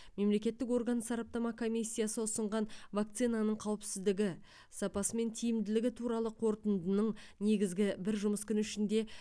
мемлекеттік орган сараптама комиссиясы ұсынған вакцинаның қауіпсіздігі сапасы мен тиімділігі туралы қорытындының негізгі бір жұмыс күні ішінде